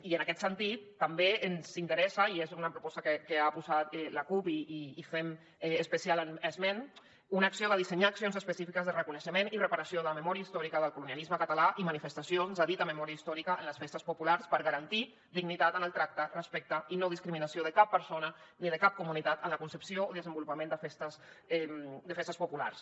i en aquest sentit també ens interessa i és una proposta que ha proposat la cup i en fem especial esment una acció de dissenyar accions específiques de reconeixement i reparació de la memòria històrica del colonialisme català i manifestacions de dita memòria històrica en les festes populars per garantir dignitat en el tracte respecte i no discriminació de cap persona ni de cap comunitat en la concepció o desenvolupament de festes populars